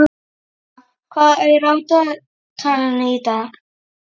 Alísa, hvað er á dagatalinu í dag?